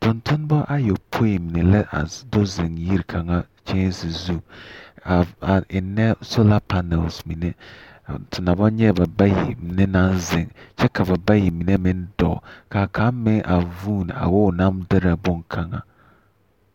Tontonema ayɔpõĩ mine la a do zeŋ yiri kaŋa kyɛnse zu a a ennɛ sola panɛls mine a te na bɔŋ nyɛɛ ba bayi mine naŋ zeŋ kyɛ ka ba bayi mine meŋ zɔɔ, kaa kaŋ meŋ a vuun a wo o naŋ derɛ boŋkaŋa.